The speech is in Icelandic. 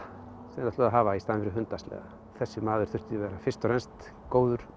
þeir ætluðu að hafa í staðinn fyrir hundasleða þessi maður þyrfti að vera fyrst og fremst góður